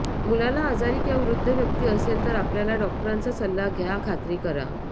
मुलाला आजारी किंवा वृद्ध व्यक्ती असेल तर आपल्या डॉक्टरांचा सल्ला घ्या खात्री करा